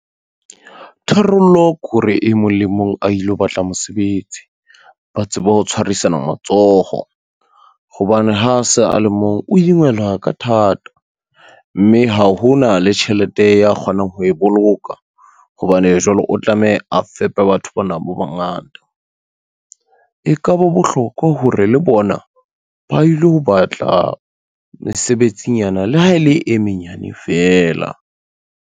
Tharollo kore e mong le mong a ilo batla mosebetsi, ba tsebe ho tshwarisana matsoho. Hobane ha se a le mong o ingelwa ka thata, mme ha ho na le tjhelete ya kgonang ho e boloka, hobane jwale o tlameya a fepe batho bana ba bangata. E ka ba bohlokwa hore le bona ba ilo batla mesebetsinyana le ha e le e menyane feela.